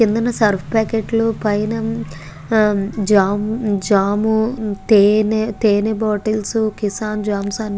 కిందున్న Surf packet లు పైన జాం జాము తేనే బాటిల్స్ కిసాన్ జామ్స్ అని --